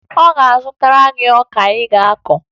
Ọ ga-azụtara gị ọka ị ga-akụ?